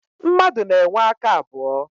Mmadụ na-enwe aka abụọ.